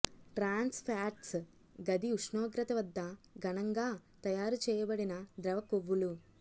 ట్రాన్స్ fats గది ఉష్ణోగ్రత వద్ద ఘనంగా తయారు చేయబడిన ద్రవ కొవ్వులు